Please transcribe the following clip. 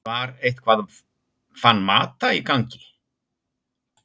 Var eitthvað Van Mata í gangi?